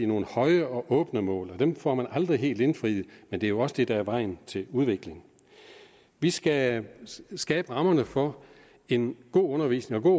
nogle høje og åbne mål det dem får man aldrig helt indfriet men det er jo også det der er vejen til udvikling vi skal skabe rammerne for en god undervisning og